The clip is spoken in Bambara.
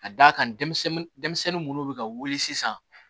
Ka d'a kan denmisɛnnin munnu bɛ ka wuli sisan